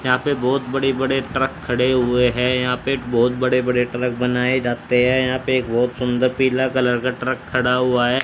यहां पे बहुत बड़े-बड़े ट्रक खड़े हुए हैं यहां पे बहुत बड़े-बड़े ट्रक बनाए जाते हैं यहां पे एक बहुत सुंदर पीला कलर का ट्रक खड़ा हुआ है।